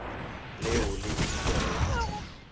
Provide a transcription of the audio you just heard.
leo le ilego la tla